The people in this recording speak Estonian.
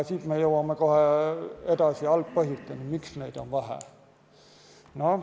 Me jõuame kohe algpõhjusteni, miks neid on vähe.